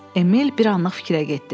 Emil bir anlıq fikrə getdi.